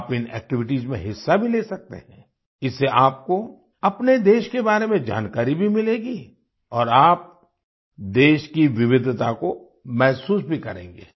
आप इन एक्टिविटीज में हिस्सा भी ले सकते हैं इससे आपको अपने देश के बारे में जानकारी भी मिलेगी और आप देश की विविधता को महसूस भी करेंगे